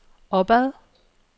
opad